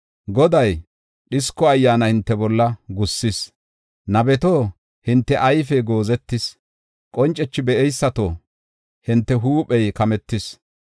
Goday dhisko ayyaana hinte bolla gussis. Nabeto, hinte ayfey goozetis; qoncethi be7eysato, hinte huuphey kametis.